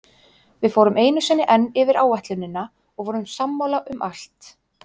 Við fórum einu sinni enn yfir áætlunina og vorum sammála um allt.